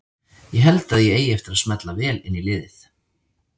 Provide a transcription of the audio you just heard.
Ég held að ég eigi eftir að smella vel inn í liðið.